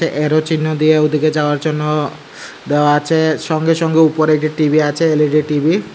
এরো চিহ্ন দিয়ে ওদিকে যাওয়ার জন্য দেওয়া আচে সঙ্গে সঙ্গে উপরে একটি টি_বি আছে এল_ই_ডি টি_বি ।